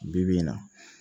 Bi bi in na